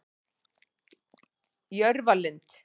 Jörfalind